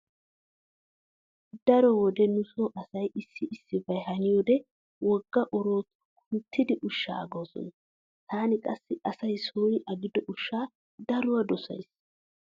Daro wode nu so asay issi issibay haniyode wogga oroottuwa kunttidi ushshaa agoosona. Taani qassi asay sooni agido ushshaa daro dosays.